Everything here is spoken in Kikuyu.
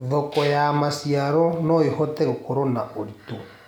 Thoko ya macĩaro noĩhote gũkorwo na ũrĩtũ